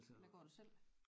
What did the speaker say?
Eller går du selv